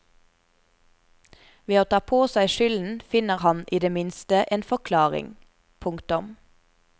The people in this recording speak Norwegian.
Ved å ta på seg skylden finner han i det minste en forklaring. punktum